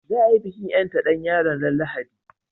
Za a yi bikin ƴanta ɗan koyon ran Lahadi